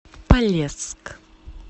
полесск